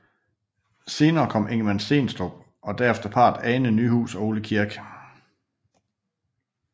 Senere kom Ingemann Stenstrup og derefter parret Anne Nyhus og Ole Kirk